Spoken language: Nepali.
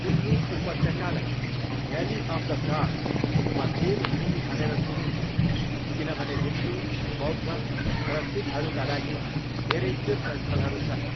कुल्लु उपत्यकालाई 'भ्याली अफ द गॉड्स' वा 'देव भूमि' भनेर चिनिन्छ किनभने हिन्दू, बौद्ध र सिखहरूका लागि धेरै तीर्थस्थलहरू छन्।